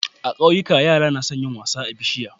A kauyika yara nason yin wasa akan bishiya